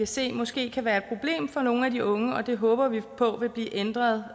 se måske kan være et problem for nogle af de unge og det håber vi på vil blive ændret